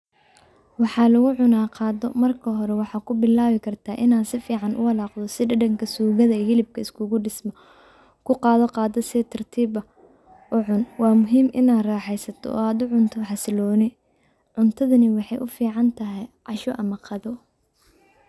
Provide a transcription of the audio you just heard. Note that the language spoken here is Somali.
Waxaa lugucunaah qado marka hore waxaa kubilawi kartah inaa sifican uwalaqdo si dadanka sugada iyo hilibka iskugudisman. Kuqado qadada si tartib ah ucun, wa muhim inaa raxeysato oo ad u cunto xasiloni. Cuntadhani waxay u ficantahy cash ama qado.